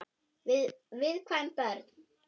Fyrir viðkvæm börn.